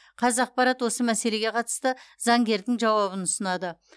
қазақпарат осы мәселеге қатысты заңгердің жауабын ұсынады